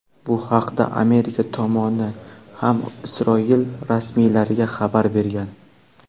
Bu haqda Amerika tomoni ham Isroil rasmiylariga xabar bergan.